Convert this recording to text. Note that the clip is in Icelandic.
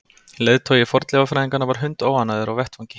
Leiðtogi fornleifafræðinganna var hundóánægður á vettvangi.